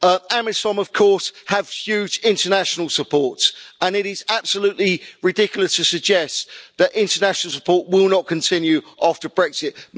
AMISOM of course have huge international support, and it is absolutely ridiculous to suggest that international support will not continue after Brexit.